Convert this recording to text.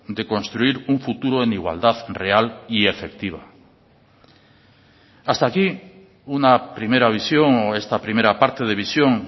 de construir un futuro en igualdad real y efectiva hasta aquí una primera visión o esta primera parte de visión